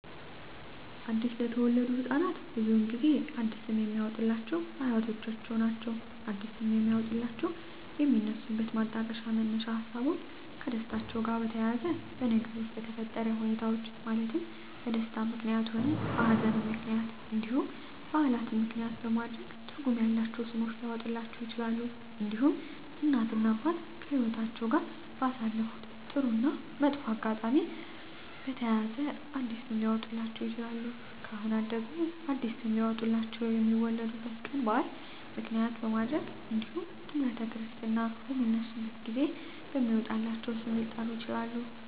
አዲስ ለተወለዱ ህፃናት ብዙውን ጊዜ አዲስ ስም የሚያወጡሏቸው አያቶቻቸውን ነው አዲስ ስም የሚያወጧላቸው የሚነሱበት ማጣቀሻ መነሻ ሀሳቦች ከደስታቸው ጋር በተያያዘ በነገሮች በተፈጠረ ሁኔታዎች ማለትም በደስታም ምክንያትም ሆነ በሀዘንም ምክንያት እንዲሁም በዓላትን ምክንያትም በማድረግ ትርጉም ያላቸው ስሞች ሊያወጡላቸው ይችላሉ። እንዲሁም እናት እና አባት ከህይወትአቸው ጋር ባሳለፉት ጥሩ እና መጥፎ አጋጣሚ በተያያዘ አዲስ ስም ሊያወጡላቸው ይችላሉ። ካህናት ደግሞ አዲስ ስም ሊያወጡላቸው የሚወለዱበት ቀን በዓል ምክንያት በማድረግ እንዲሁም ጥምረተ ክርስትና በሚነሱበት ጊዜ በሚወጣላቸው ስም ሊጠሩ ይችላሉ።